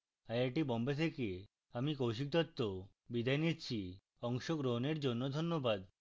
I I T Bombay থেকে আমি কৌশিক দত্ত বিদায় নিচ্ছি অংশগ্রহনের জন্য ধন্যবাদ